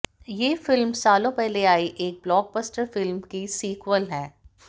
ये फिल्म सालों पहले आई एक ब्लॉकबस्टर फिल्म की सीक्वल है